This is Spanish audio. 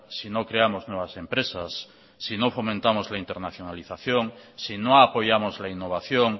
si no creamos nuevas empresas si no fomentamos la internacionalización si no apoyamos la innovación